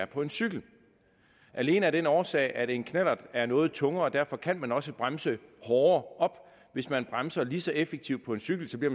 på en cykel alene af den årsag at en knallert er noget tungere og derfor kan man også bremse hårdere op hvis man bremser lige så effektivt på en cykel bliver